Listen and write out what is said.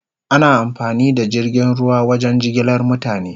Ana amfani da jirgin ruwa wajen jigilar mutane